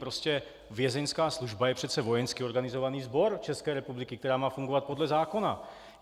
Prostě Vězeňská služba je přece vojensky organizovaný sbor České republiky, který má fungovat podle zákona.